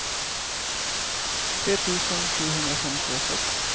tre tusen sjuhundrafemtiosex